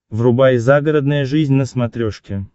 врубай загородная жизнь на смотрешке